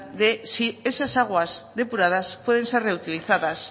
de si esas aguas depuradas pueden ser reutilizadas